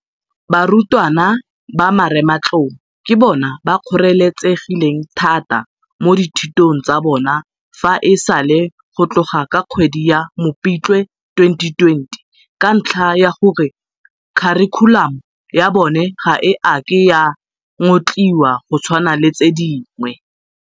Barutwana ba Marematlou ke bona ba kgoreletsegileng thata mo dithutong tsa bona fa e sale go tloga ka kgwedi ya Mopitlwe 2020 ka ntlha ya gore kharikhulamo ya bona ga e a ke ya ngotliwa go tshwana le tse dingwe.